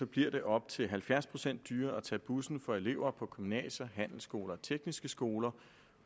bliver det op til halvfjerds procent dyrere at tage bussen for elever på gymnasier handelsskoler og tekniske skoler